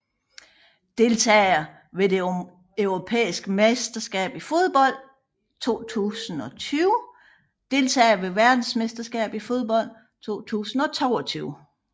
Deltagere ved det europæiske mesterskab i fodbold 2020 Deltagere ved verdensmesterskabet i fodbold 2022